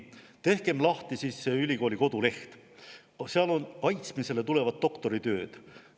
Tehkem lahti siis selle ülikooli koduleht, seal on kaitsmisele tulevad doktoritööd.